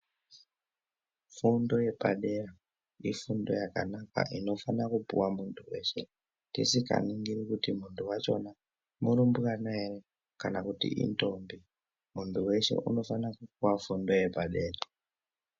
Fundo yepadera ifundo yakanaka inofana kupuhwa muntu wese tisikaringiri kuti muntu wacho murumbwana here kana kuti indombi muntu weshe unofana kupuwa fundo yepadera.